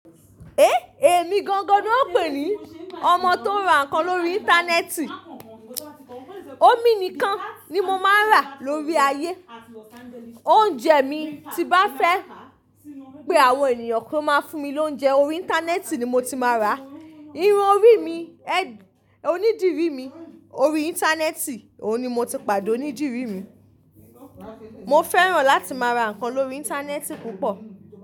Ehn, èmi gangan ni wọ́n ń pè ní ọmọ tó ń ra nǹkan lórí Íńtánẹ́ẹ̀tì. Omi nìkan ni mo máa ń ra lórí ayé. Oúnjẹ mi, tí bá fẹ́ pé àwọn ènìyàn kó máa fún mi lóúnjẹ, orí Íńtánẹ́ẹ̀tì ni mo ti máa ra. Irun onídìrí mi, orí Íńtánẹ́ẹ̀tì òun ni mo ti pàdá onídìrí mi. Mo fẹ́ràn láti máa ra nǹkan lórí Íńtánẹ́ẹ̀tì púpọ̀